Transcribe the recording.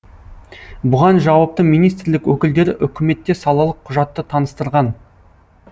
бұған жауапты министрлік өкілдері үкіметте салалық құжатты таныстырған